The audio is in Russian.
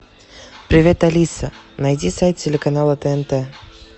привет алиса найди сайт телеканала тнт